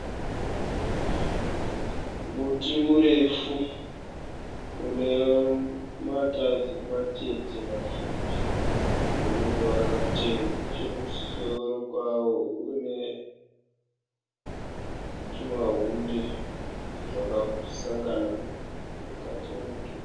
Muti murefu une matazi matete mapfupi une ruvara rutema neche kumusoro kwawo une tuma hunde twakasanga mukati memudhuri.